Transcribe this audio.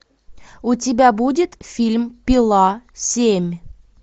у тебя будет фильм пила семь